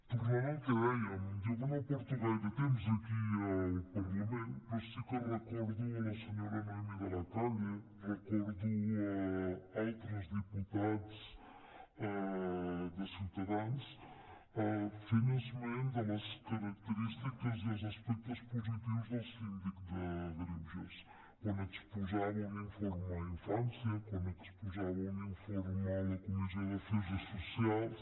tornant al que dèiem jo que no porto gaire temps aquí al parlament però sí que recordo la senyora noemí de la calle recordo altres diputats de ciutadans fent esment de les característiques i els aspectes positius del síndic de greuges quan exposava un informe d’infància quan exposava un informe a la comissió d’afers socials